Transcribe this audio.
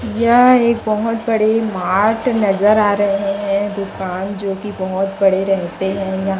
यह एक बहोत बड़े मार्ट नजर आ रहे हैं दुकान जो की बहोत बड़े रहते हैं यहां।